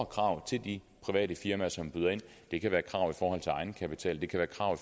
krav til de private firmaer som byder ind det kan være krav i forhold til egenkapital det kan være krav